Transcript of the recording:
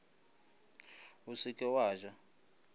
o se ke wa ja